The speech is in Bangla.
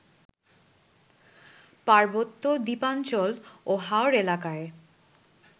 পার্বত্য, দ্বীপাঞ্চল ও হাওড় এলাকায়